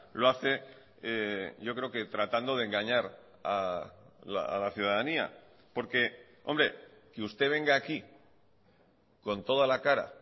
lo hace yo creo que tratando de engañar a la ciudadanía porque hombre que usted venga aquí con toda la cara